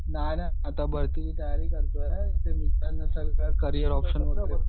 नाही नाही आता भरतीची तयारी करतोय करियर ऑप्शन वगैरे.